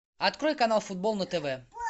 открой канал футбол на тв